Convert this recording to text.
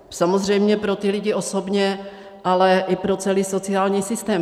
Samozřejmě pro ty lidi osobně, ale i pro celý sociální systém.